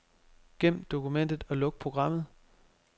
Gem dokumentet og luk programmet.